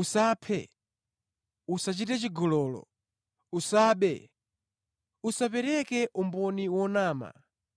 “Usaphe, usachite chigololo, usabe, usapereke umboni onama,